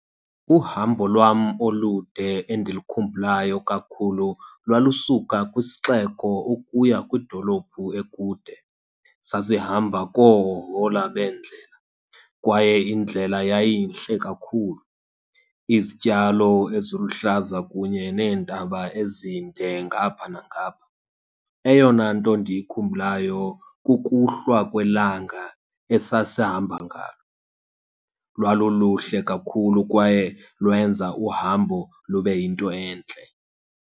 Uhambo lwam olude endilukhumbulayo kakhulu lwalusuka kwisixeko ukuya kwidolophu ekude. Sasihamba koohohola bendlela kwaye indlela yayintle kakhulu, izityalo eziluhlaza kunye neentaba ezinde ngapha nangapha. Eyona nto ndiyikhumbulayo kukuhlwa kwelanga esasihamba ngalo. Lwaluluhle kakhulu kwaye lwenza uhambo lube yinto entle.